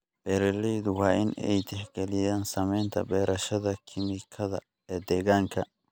Beeraleyda waa in ay tixgeliyaan saamaynta beerashada kiimikada ee deegaanka.